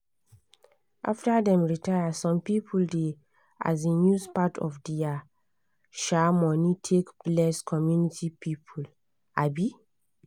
after dem retire some people dey um use part of dia um money take bless community people. um